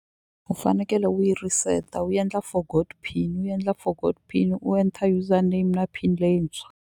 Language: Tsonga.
U fanekele u yi reset-a wu endla forgot pin u endla forgot pin u enter user name na pin leyintshwa.